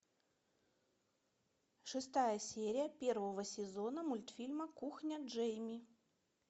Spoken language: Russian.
шестая серия первого сезона мультфильма кухня джейми